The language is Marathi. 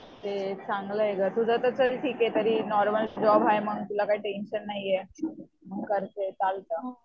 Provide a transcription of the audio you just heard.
ते चांगलं आहे गं तुझं तर ते ठीक आहे नॉर्मल जॉब हाय तुला काय टेन्शन नाहीये